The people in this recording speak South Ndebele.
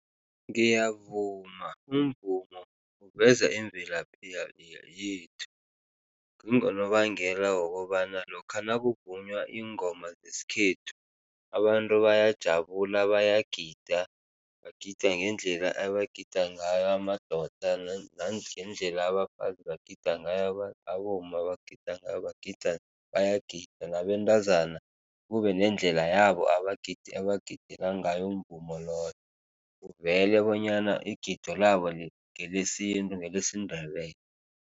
Ngiyavuma, umvumo uveza imvelaphi yethu. Kungonobangela wokobana lokha nakuvunywa iingoma zesikhethu, abantu bayajabula bayagida, bagida ngendlela abagida ngayo, amadoda nangendlela abafazi bagida ngayo abomma bagida ngayo bagida bayagida nabentazana kubenendlela yabo abagidela ngayo umvumo loyo, kuvele bonyana igido labo ngelesintu, ngelesiNdebele.